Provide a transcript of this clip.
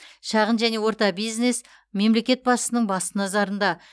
шағын және орта бизнес мемлекет басшысының басты назарында